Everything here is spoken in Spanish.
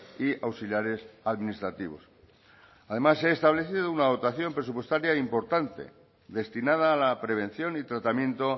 y auxiliares administrativos además se ha establecido una dotación presupuestaria importante destinada a la prevención y tratamiento